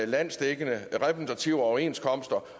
landsdækkende repræsentative overenskomster